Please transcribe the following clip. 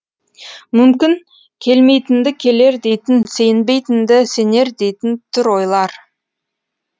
мүмкін келмейтінді келер дейтін сенбейтінді сенер дейтін тұр ойлар